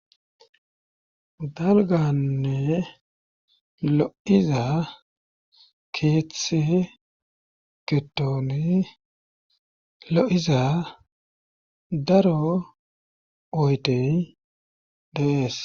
dalganne lo'iza keeththe ketooni lo'iza daro oydey dees.